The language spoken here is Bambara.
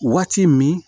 Waati min